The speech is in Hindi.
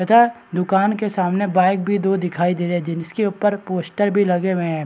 तथा दुकान के सामने बाइक भी दो दिखाई दे रही जिनस्के ऊपर पोस्टर भी लगे हुए है।